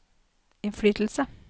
innflytelse